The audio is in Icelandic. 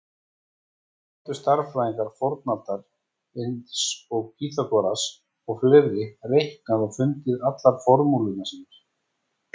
Hvernig gátu stærðfræðingar fornaldar eins og Pýþagóras og fleiri reiknað og fundið allar formúlurnar sínar?